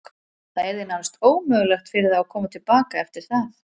Það yrði nánast ómögulegt fyrir þá að koma til baka eftir það.